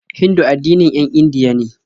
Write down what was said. Hindu addinin 'yan Indiya be.